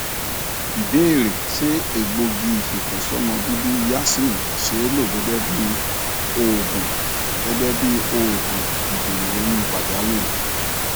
ìbéèrè ṣé egbogi ifeto somo bibi yasmin see lo gẹgẹ bí oògùn gẹgẹ bí oògùn idena oyun pajawiri